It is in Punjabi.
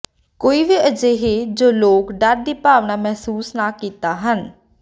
ਕੋਈ ਵੀ ਅਜਿਹੀ ਜੋ ਲੋਕ ਡਰ ਦੀ ਭਾਵਨਾ ਮਹਿਸੂਸ ਨਾ ਕੀਤਾ ਹਨ